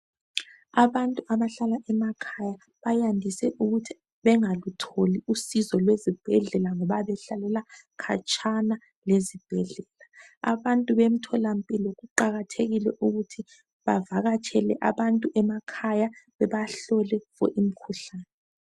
Abantu abahlala emakhaya bayandise ukuthi begalutholi usizo lwezibhedlela ngoba behlalalela khatshana lezibhedlela. Abantu bemtholampilo kuqakathekile ukuthi bavakatshele abantu emakhaya bebahlole fo imikhuhlane.